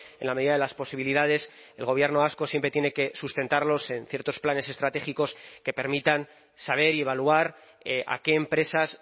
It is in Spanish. en la medida de las posibilidades el gobierno vasco siempre tiene que sustentarlos en ciertos planes estratégicos que permitan saber y evaluar a qué empresas